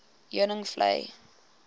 heuningvlei